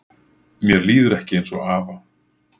Mér líður ekki eins og afa